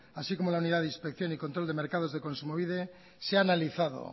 así como la unidad de inspección y control de mercados de kontsumobide se ha analizado